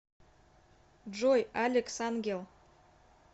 джой алекс ангел